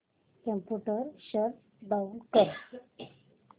computer shut down कर